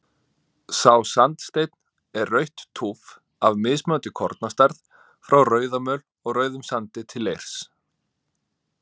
Sá sandsteinn er rautt túff af mismunandi kornastærð, frá rauðamöl og rauðum sandi til leirs.